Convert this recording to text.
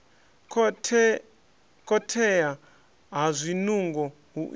khothea ha zwinungo hu itea